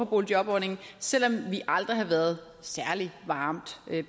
boligjobordningen selv om vi aldrig har været særlig varmt